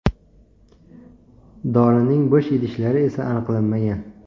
Dorining bo‘sh idishlari esa aniqlanmagan.